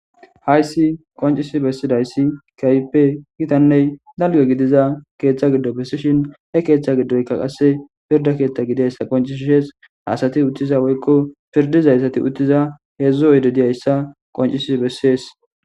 Hayssi qoncisi bessidayssi kayppe gitanney dalge gidiza keeththa giddo bessishin he keethtcha giddoyka qasse pirda keeththa gidiayssa qoncisshees haasati uttiza woykko pirdizayssati uttiza heedzdzu oydediyayssa qoncisi bessees